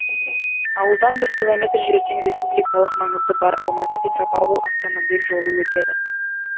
ауылдан бір километр жерден республикалық маңызы бар алматы петропавл автомобиль жолы өтеді